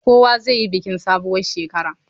Kowa zai yi bikin sabuwar shekara.